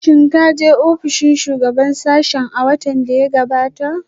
Shin ka je ofishin shugaban sashen a watan da ya gabata?